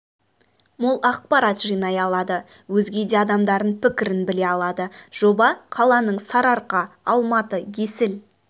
мол ақпарат жинай алады өзге де адамдардың пікірін біле алады жоба қаланың сарыарқа алматы есіл